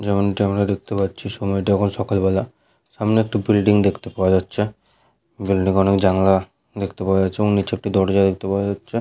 যেমনটি আমরা দেখতে পাচ্ছি সময়টি এখন সকালবেলা । সামনে একটি বিল্ডিং দেখতে পাওয়া যাচ্ছে। বিল্ডিং এ অনেক জানলা দেখতে পাওয়া যাচ্ছে এবং নিচে একটি দরজা দেখতে পাওয়া যাচ্ছে।